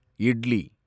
idli